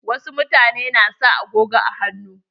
Wa su mutane na sa agogon hannu.